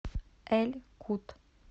эль кут